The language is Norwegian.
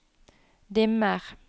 dimmer